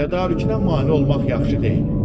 Tədarükünə mane olmaq yaxşı deyil.